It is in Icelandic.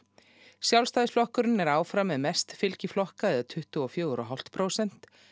Sjálfstæðisflokkurinn er áfram með mest fylgi flokka eða tuttugu og fjögur og hálft prósent